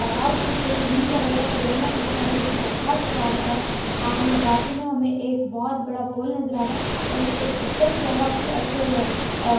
बहुत कुछ है ग्रीन कलर का क्रेन है इसका हुक बहुत शार्प है एंड ये बाजू में हमें एक बहुत बड़ा पोल नजर आ रहा है और ये एकदम बहुत ही अच्छे अह--